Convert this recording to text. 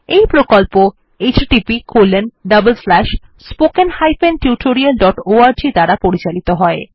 এই প্রকল্প httpspoken tutorialorg দ্বারা পরিচালিত হয়